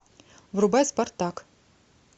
врубай спартак